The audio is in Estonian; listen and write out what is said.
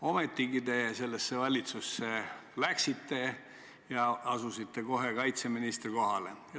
Ometigi te sellesse valitsusse läksite ja asusite kohe kaitseministri kohale.